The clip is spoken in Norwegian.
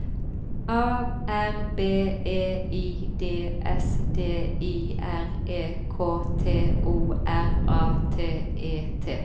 A R B E I D S D I R E K T O R A T E T